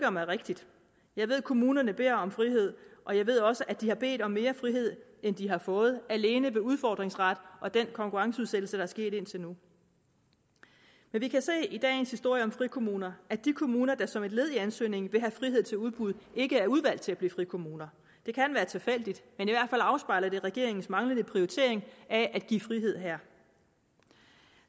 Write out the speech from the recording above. om er rigtigt jeg ved at kommunerne beder om frihed og jeg ved også at de har bedt om mere frihed end de har fået alene ved udfordringsret og den konkurrenceudsættelse der er sket indtil nu men vi kan i dagens historie om frikommuner at de kommuner der som et led i ansøgningen vil have frihed til udbud ikke er udvalgt til at blive frikommuner det kan være tilfældigt men det afspejler i regeringens manglende prioritering af at give frihed her